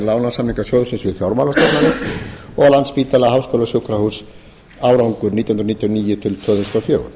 lánasamninga sjóðsins við fjármálastofnanir og landspítala háskólasjúkrahús árgangur nítján hundruð níutíu og níu til tvö þúsund og fjögur